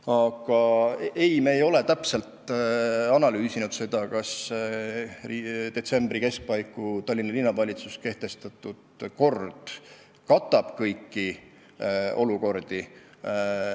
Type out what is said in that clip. Aga vastus teile on, et me ei ole täpselt analüüsinud, kas detsembri keskpaiku Tallinna Linnavalitsuse kehtestatud kord hõlmab kõiki võimalikke olukordi.